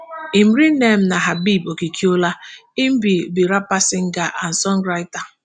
im real name na habeeb okikiola im be be rapper singer and songwriter.